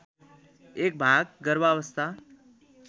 एक भाग गर्भावस्था